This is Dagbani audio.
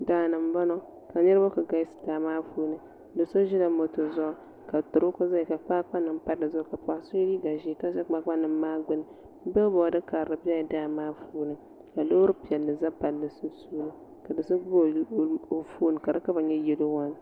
Daani n boŋo ka niraba ku galisi daa maa puuni do so ʒila moto zuɣu ka turoko ʒiya ka kpaakpa nim pa dizuɣu ka paɣa so mii gba ʒiya ka ʒɛ kpaakpa nim maa gbuni sanbood karili bɛla daa maa puuni ka loori piɛlli bɛ palli maa zuɣu sunsuuni ka do so gbubi o foon ka di kala nyɛ yɛlo